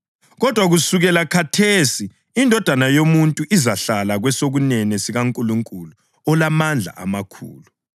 Kodwa kusukela khathesi iNdodana yoMuntu izahlala kwesokunene sikaNkulunkulu olamandla amakhulu.”